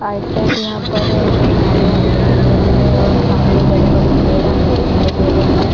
आइड- side हमें यहाँ पर झाड़ियाँ दिखाई दे रही है और सामने बड़े- बड़े पेड़ हमें दिखाई दे रहे है।